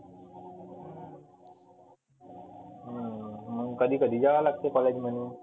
मग कधी कधी जावा लागते college मध्ये.